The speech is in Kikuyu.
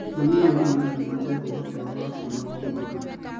Mamirioni ma andũ nĩmateaga ũhoti wao wa kuona o mwaka